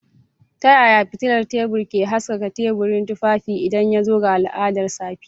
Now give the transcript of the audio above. Ta yaya fitilar tebur ke haskaka teburin tufafi idan ya zo ga al'adar safiya?